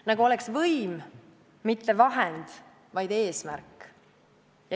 Nagu oleks võim mitte vahend, vaid eesmärk.